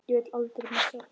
Ég vil aldrei missa þig.